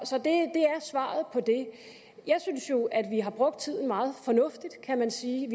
svaret på det jeg synes jo at vi har brugt tiden meget fornuftigt kan man sige